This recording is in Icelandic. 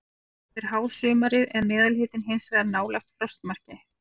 Yfir hásumarið er meðalhitinn hins vegar nálægt frostmarki.